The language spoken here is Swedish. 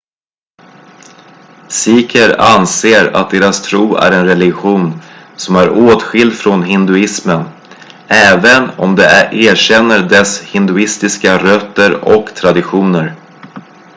sikher anser att deras tro är en religion som är åtskild från hinduismen även om de erkänner dess hinduistiska rötter och traditioner